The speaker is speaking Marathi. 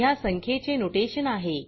या संख्येचे नोटेशन आहे